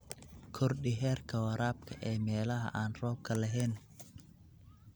Kordhi heerka waraabka ee meelaha aan roobka lahayn.